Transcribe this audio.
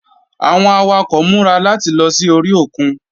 Àwọn awakọ̀ múra láti lọ sí orí òkun.